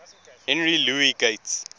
henry louis gates